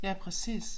Ja præcis